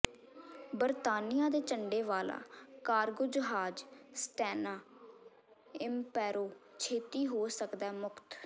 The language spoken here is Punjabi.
ਬਰਤਾਨੀਆ ਦੇ ਝੰਡੇ ਵਾਲਾ ਕਾਰਗੋ ਜਹਾਜ਼ ਸਟੈਨਾ ਇੰਪੈਰੋ ਛੇਤੀ ਹੋ ਸਕਦੈ ਮੁਕਤ